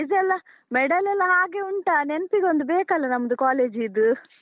Prize ಎಲ್ಲ, medal ಎಲ್ಲ ಹಾಗೆ ಉಂಟಾ, ನೆನ್ಪಿಗೊಂದ್ ಬೇಕಲ್ಲ ನಮ್ಮದು college ದ್ದು?